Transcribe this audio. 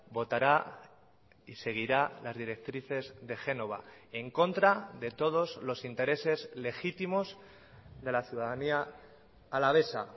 votará y seguirá las directrices de génova en contra de todos los intereses legítimos de la ciudadanía alavesa